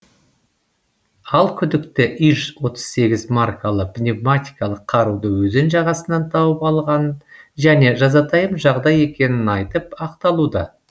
ал күдікті иж отыз сегіз маркалы пневматикалық қаруды өзен жағасынан тауып алғанын және жазатайым жағдай екенін айтып ақталуда